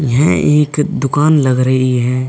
यह एक दुकान लग रही है।